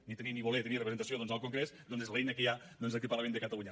ni tenir ni voler tenir representació al congrés és l’eina que hi ha doncs aquí al parlament de catalunya